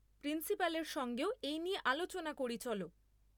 প্রিন্সিপালের সঙ্গেও এই নিয়ে আলোচনা করি চলো।